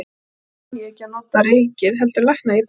En svo kann ég ekki að nota reikið heldur lækna ég beint.